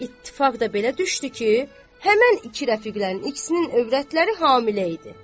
İttifaq da belə düşdü ki, həmin iki rəfiqlərin ikisinin övrətləri hamilə idi.